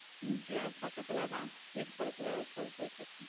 இங்க பக்கத்துல தான் வீட்டு பக்கத்துல ஒரு school க்கு போயிடு இருக்கான்.